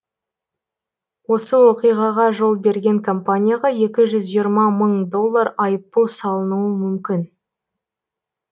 осы оқиғаға жол берген компанияға екі жүз жиырма мың доллар айыппұл салынуы мүмкін